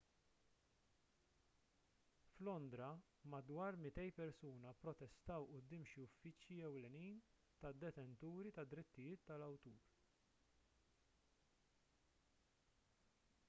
f'londra madwar 200 persuna pprotestaw quddiem xi uffiċċji ewlenin tad-detenturi tad-drittijiet tal-awtur